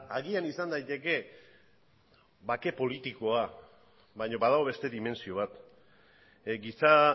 agian izan daiteke bake politikoa baina badago beste dimentsio bat giza